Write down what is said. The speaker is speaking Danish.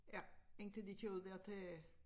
Ja indtil de kører ud der til